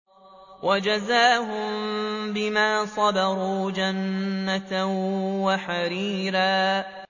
وَجَزَاهُم بِمَا صَبَرُوا جَنَّةً وَحَرِيرًا